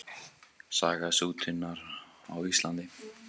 Saga sútunar á Íslandi.